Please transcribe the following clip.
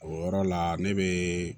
O yɔrɔ la ne bɛ